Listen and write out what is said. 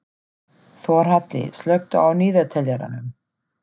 Þórhalli, slökktu á niðurteljaranum.